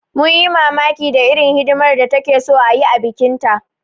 Mun yi mamakin da irin hidimar da takeso ayi a bikin ta